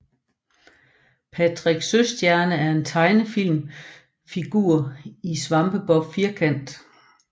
Patrick Søstjerne er en tegnefilm figur i Svampebob Firkant